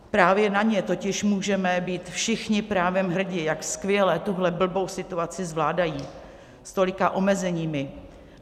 Právě na ně totiž můžeme být všichni právem hrdi, jak skvěle tuhle blbou situaci zvládají, s tolika omezeními.